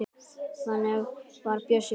Þannig var Bjössi.